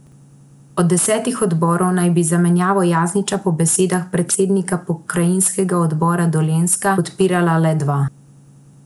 Od desetih odborov naj bi zamenjavo Jasniča po besedah , predsednika pokrajinskega odbora Dolenjska, podpirala le dva.